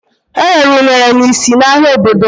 Erere unere n'isi n'ahia obodo m.